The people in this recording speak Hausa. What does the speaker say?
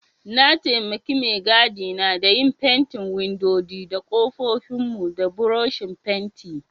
Na taimake maigida na da yin fentin windodi da kofofin mu da buroshin fenti.